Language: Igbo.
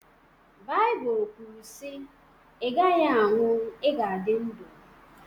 Baịbụl kwuru sị “Ị gaghị anwụ, ị ga-adị ndụ